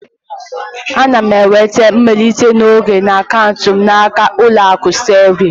Ana m enweta mmelite n'oge na akaụntụ m n'aka Ụlọakụ Sterling